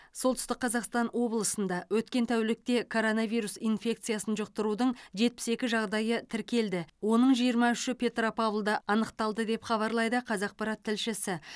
солтүстік қазақстан облысында өткен тәулікте коронавирус инфекциясын жұқтырудың жетпіс екі жағдайы тіркелді оның жиырма үші петропавлда анықталды деп хабарлайды қазақпарат тілшісі